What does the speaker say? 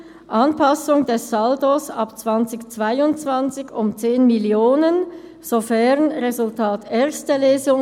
Anpassung des Saldos ab 2020 um 10 Mio. sofern Resultat erste Lesung